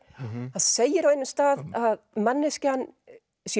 það segir á einum stað að manneskjan sé